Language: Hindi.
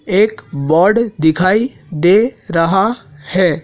एक बर्ड दिखाई दे रहा है।